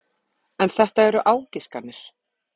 En þetta eru ágiskanir.